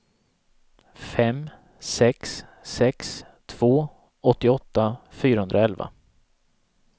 fem sex sex två åttioåtta fyrahundraelva